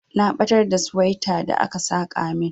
Na batar da suwaita da aka saka min.